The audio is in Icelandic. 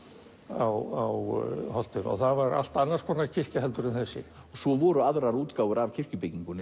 á holtinu og það var allt annars konar kirkja heldur en þessi svo voru aðrar útgáfur af kirkjubyggingunni